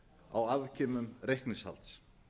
á afkimum reikningshalds